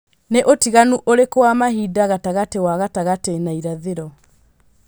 nī ūtiganu ūrīkū wa mahinda gatagati wa gatagati na irathīro